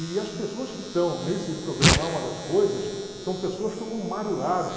E as pessoas que estão nesse programa Alma das Coisas são pessoas como Mário Lago.